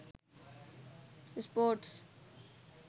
sports